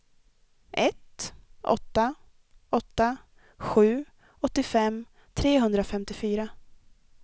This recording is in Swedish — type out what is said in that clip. ett åtta åtta sju åttiofem trehundrafemtiofyra